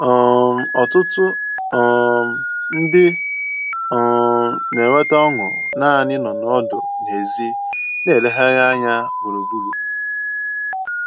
um Ọtụtụ um ndị um na-enweta ọṅụ naanị ịnọ ọdụ n'èzí na-elegharị anya gburugburu